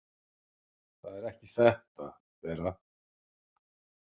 Það er ekki þetta, Bera!